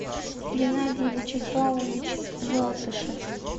геннадий вячеславович желтышев